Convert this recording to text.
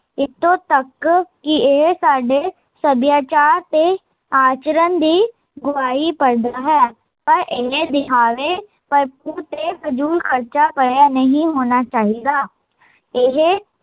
ਇੱਥੋਂ ਤਕ ਕੀ ਇਹ ਸਾਡੇ ਸਭਿਆਚਾਰ ਤੇ ਆਚਰਣ ਦੀ ਗਵਾਹੀ ਭਰਦਾ ਹੈ ਪਰ ਇਹ ਤੇ ਫ਼ਜ਼ੂਲ ਖਰਚਾ ਭਰਿਆ ਨਹੀਂ ਹੋਣਾ ਚਾਹੀਦਾ ਇਹ